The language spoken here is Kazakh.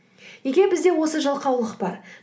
неге бізде осы жалқаулық бар